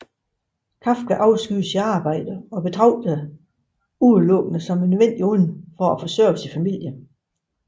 Kafka afskyede sit arbejde og betragtede det udelukkende som et nødvendigt onde for at forsørge familien